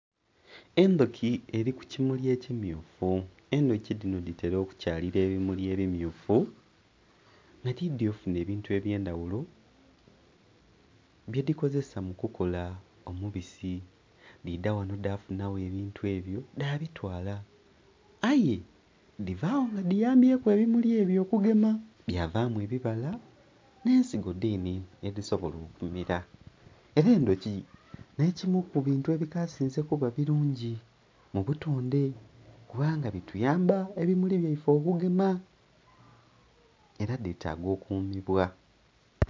Endhoki eri ku kimuli ekimyufu, endhoki dhino dhitera okukyalira ebimuli ebimyufu nga dhidhye ofunha ebintu ebyendhaghulo bye dhikozesa mu kukola omubisi dhaidha ghanho dhafuna gho ebintu ebyo dha bitwala, aye dhivagho nga dhiyambyeku ebimuli ebyo okugema bya vamu ebibala nhe ensigo dhene edhisobola okumera. Era endhoki nhe'dhimu ku bintu ebikasinze kuba birungi mu butondhe kubanga bituyamba ebimuli byaife okugema era dhe taaga okumibwa.